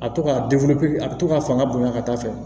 A to ka a bɛ to ka fanga bonya ka taa fɛ